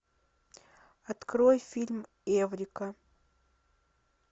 открой фильм эврика